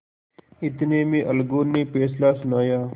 इतने में अलगू ने फैसला सुनाया